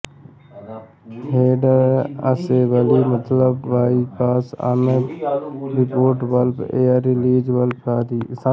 header assembly मतलब bypass non return valve air release valve आदि